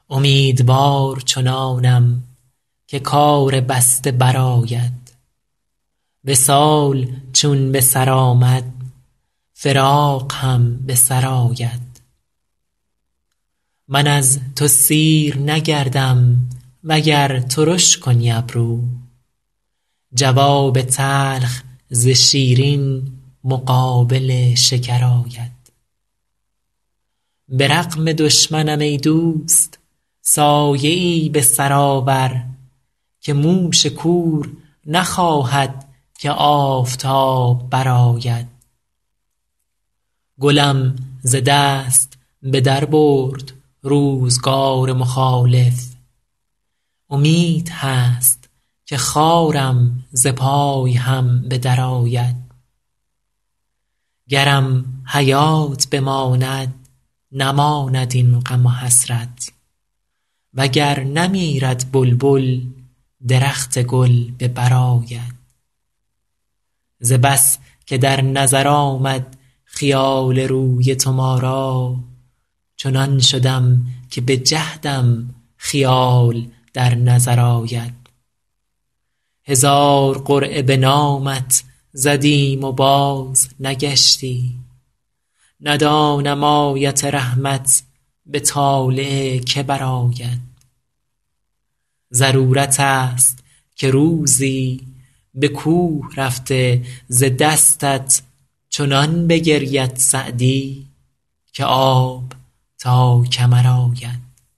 امیدوار چنانم که کار بسته برآید وصال چون به سر آمد فراق هم به سر آید من از تو سیر نگردم وگر ترش کنی ابرو جواب تلخ ز شیرین مقابل شکر آید به رغم دشمنم ای دوست سایه ای به سر آور که موش کور نخواهد که آفتاب برآید گلم ز دست به در برد روزگار مخالف امید هست که خارم ز پای هم به درآید گرم حیات بماند نماند این غم و حسرت و گر نمیرد بلبل درخت گل به بر آید ز بس که در نظر آمد خیال روی تو ما را چنان شدم که به جهدم خیال در نظر آید هزار قرعه به نامت زدیم و بازنگشتی ندانم آیت رحمت به طالع که برآید ضرورت ست که روزی به کوه رفته ز دستت چنان بگرید سعدی که آب تا کمر آید